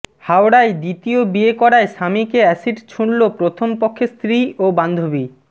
হাওড়ায় দ্বিতীয় বিয়ে করায় স্বামীকে অ্যাসিড ছুঁড়ল প্রথম পক্ষের স্ত্রী ও বান্ধবী